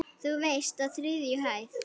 Þú veist- á þriðju hæð.